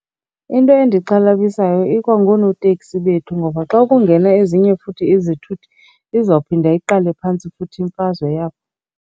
Into endixhalabisayo ikwa ngoonoteksi bethu ngoba xa kungena ezinye futhi izithuthi, izawuphinda iqale phantsi futhi imfazwe yabo.